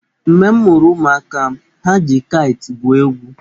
Mgbe m mụrụ ụmụaka m, ha ji kaịtị gwuo egwu.